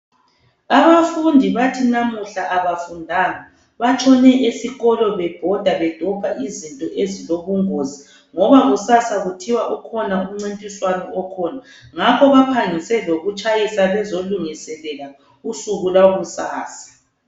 Abafundi bathi namuhla abafundanga, batshone esikolo bebhoda be dobha izinto ezilobungozi ngoba kusasa kuthiwa kukhona umncintiswano okhona ngakho baphangise lokutshayisa bezolungiselela usuku lwakusasa.